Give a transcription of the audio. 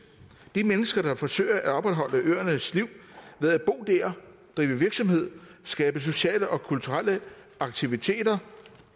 de mennesker der forsøger at opretholde øernes liv ved at drive virksomhed skabe sociale og kulturelle aktiviteter